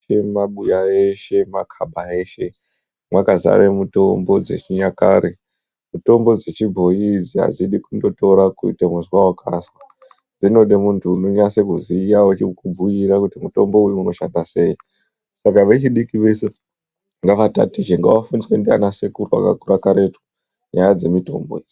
Mumabuya eshe, makhaba eshe mwakazara mutombo dzechinyakare. Mutombo dzechibhoi idzi adzidi kundotora kuite kuzwa wakazwa, zvinode muntu unonase kuziya wechikubhuira kuti mutombo uyu unoshanda sei, saka vechidiki veshe ngavatatichwe, ngavafundiswe ndanasekuru vakakura karetu nyaya dzemutombo idzi.